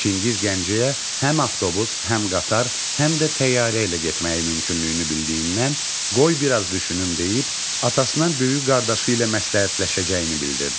Çingiz Gəncəyə həm avtobus, həm qatar, həm də təyyarə ilə getməyi mümkünlüyünü bildiyindən, qoy biraz düşünüm deyib, atasına böyük qardaşı ilə məsləhətləşəcəyini bildirdi.